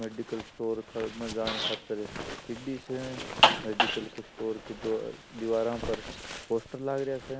Medical store में जान खातर सीडी स मेडिकल स्टोर की दिवार पर पोस्टर लागरा स।